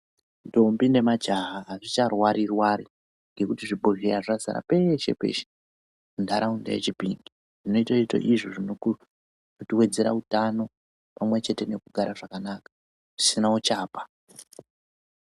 Ntombi nemajaha hazvicharwari rwari ngokuti zvibhodhleya zvazara peshe peeshe mundaraunda yeChipinge zvinotove izvo zvinowedzera utano pamwe chete nekugara zvakanaka zvisina uchapa.